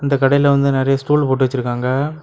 இந்த கடையில வந்து நறைய ஸ்டூல் போட்டு வச்சிருக்காங்க.